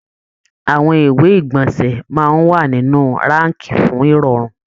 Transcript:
Àwọn ìwé igbọnsẹ máa n wà nínú raakí fún irọrun.